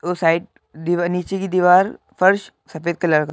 और साइड दीवार नीचे की दीवार फर्श सफेद कलर क --